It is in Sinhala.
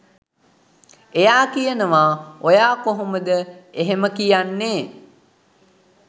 එයා කියනවා ඔයා කොහොමද එහෙම කියන්නේ?